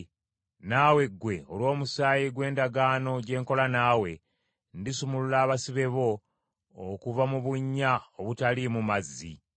Naawe ggwe, olw’omusaayi gw’endagaano gye nakola naawe, ndisumulula abasibe bo okuva mu bunnya obutaliimu mazzi.